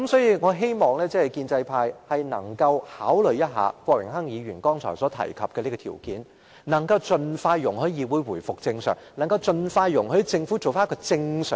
因此，我希望建制派能夠考慮一下郭榮鏗議員剛才提出的條件，盡快讓議會回復正常運作，盡快讓政府回復正常。